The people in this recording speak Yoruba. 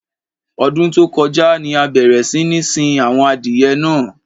Ọdún tó kọjá ni a bẹ̀rẹ̀ sí ní sin àwọn adìyẹ náà.